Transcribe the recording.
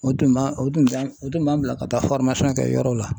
O tun b'an o tun tɛn o tun b'an bila ka taa kɛ yɔrɔw la.